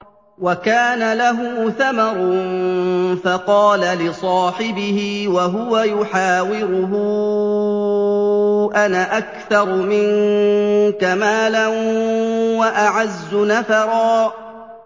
وَكَانَ لَهُ ثَمَرٌ فَقَالَ لِصَاحِبِهِ وَهُوَ يُحَاوِرُهُ أَنَا أَكْثَرُ مِنكَ مَالًا وَأَعَزُّ نَفَرًا